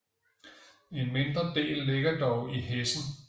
En mindre del ligger dog i Hessen